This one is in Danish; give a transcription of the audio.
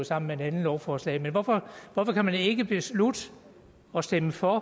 sammen med et andet lovforslag men hvorfor kan man ikke beslutte at stemme for